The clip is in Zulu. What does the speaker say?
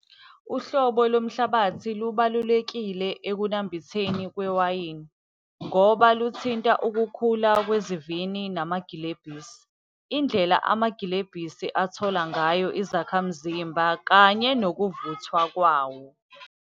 Uhlobo lomhlabathi lubalulekile ekunambitheni kwewayini, ngoba luthinta ukukhula kwezivini namagilebhisi. Indlela amagilebhisi athola ngayo izakhamzimba kanye nokuvuthwa kwawo.